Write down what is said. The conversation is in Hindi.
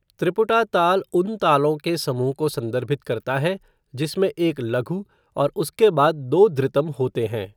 त्रिपुटा ताल उन तालों के समूह को संदर्भित करता है जिसमें एक लघु और उसके बाद दो धृतम होते हैं।